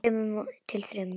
Handa tveimur til þremur